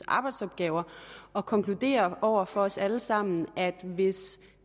arbejdsopgaver og konkludere over for os alle sammen at hvis